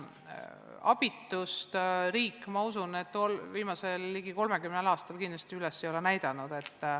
Abitust ei ole riik, ma usun, viimasel ligi 30 aastal kindlasti üles näidanud.